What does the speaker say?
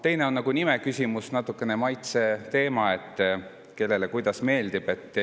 Teine on nimeküsimus, mis on natukene maitse: kellele kuidas meeldib.